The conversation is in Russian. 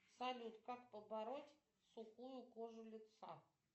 салют как побороть сухую кожу лица